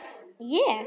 Ég?!